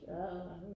Adr